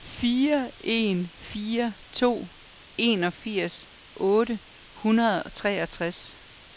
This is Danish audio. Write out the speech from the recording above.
fire en fire to enogfirs otte hundrede og treogtres